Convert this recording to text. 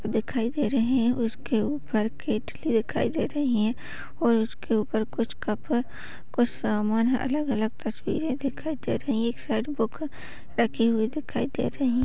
दिखाई दे रही है उसके ऊपर केटली दिखाई दे रही है और उसके उपर कुछ कप कुछ सामान अलग -अलग तस्वीरें दिखाई दे रही है। एक साइड में रखी हुई दिखाई दे रही है।